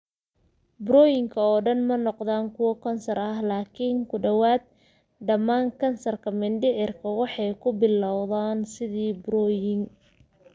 Burooyinka oo dhan ma noqdaan kuwo kansar ah, laakiin ku dhawaad ​​dhammaan kansarka mindhicirka waxay ku bilowdaan sidii burooyin.